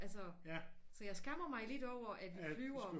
Altså så jeg skammer lidt over at vi flyver